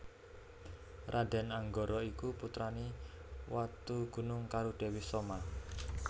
Raden Anggara iku putrane Watugunung karo Dewi Soma